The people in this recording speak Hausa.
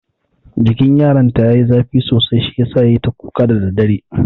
Jikin yaron ta yayi zafi sosai shi yasa yayi ta kuka da daddare.